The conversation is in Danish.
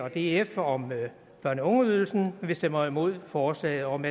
og df om børne og ungeydelsen vi stemmer imod forslaget om